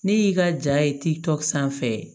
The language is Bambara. Ne y'i ka ja ye tikk'an fɛ